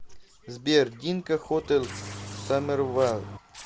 сбер динка хотел саммервайл